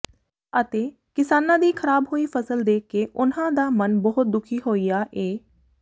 ਅਤੇ ਕਿਸਾਨਾਂ ਦੀ ਖਰਾਬ ਹੋਈ ਫਸਲ ਦੇਖ ਕੇ ਉਨ੍ਹਾਂ ਦਾ ਮਨ ਬਹੁਤ ਦੁਖੀ ਹੋਇਆ ਏ